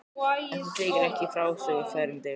En það þykir ekki í frásögur færandi.